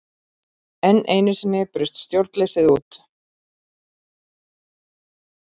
Enn einu sinni braust stjórnleysið út.